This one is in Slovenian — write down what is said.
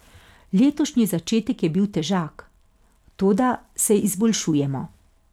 Letošnji začetek je bil težak, toda se izboljšujemo.